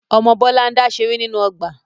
Ọmọ Bọlá n dá ṣeré nínú ọgbà